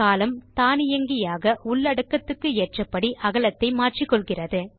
column தானியங்கியாக உள்ளடக்கத்துக்கு ஏற்றபடி அகலத்தை மாற்றிக்கொள்கிறது